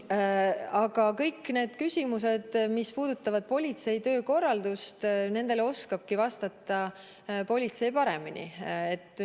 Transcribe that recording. Aga kõikidele sellistele küsimustele, mis puudutavad politsei töökorraldust, oskabki politsei paremini vastata.